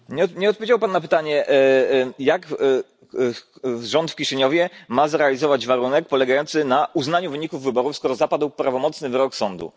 Nie odpowiedział pan na pytanie, jak rząd w Kiszyniowie ma zrealizować warunek polegający na uznaniu wyników wyborów, skoro zapadł prawomocny wyrok sądu.